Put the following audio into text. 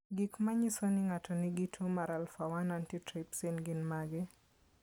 Gik manyiso ni ng'ato nigi tuo mar Alpha 1 antitrypsin gin mage?